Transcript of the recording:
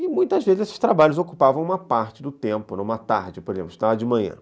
E muitas vezes esses trabalhos ocupavam uma parte do tempo, numa tarde, por exemplo, estudava de manhã.